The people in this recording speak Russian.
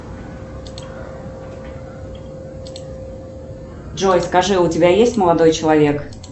джой скажи у тебя есть молодой человек